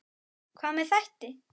Hvað með þætti?